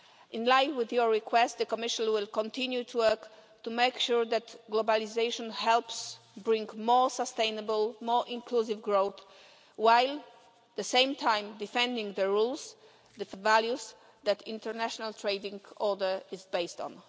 In line with your request, the Commission will continue to work to make sure that globalisation helps bring more sustainable, more inclusive growth while at the same time defending the rules and values that the international trading order is based on.